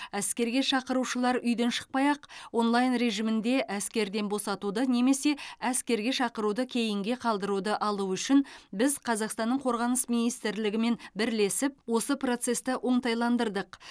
әскерге шақырылушылар үйден шықпай ақ онлайн режимінде әскерден босатуды немесе әскерге шақыруды кейінге қалдыруды алуы үшін біз қазақстанның қорғаныс министрлігімен бірлесіп осы процесті оңтайландырдық